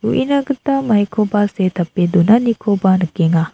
uinagita maikoba se·e tape donanikoba nikenga.